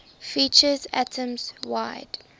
features atoms wide